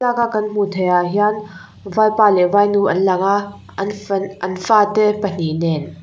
thlalak a kan hmuh theih ah hian vaipa leh vainu an lang a an fate pahnih nen.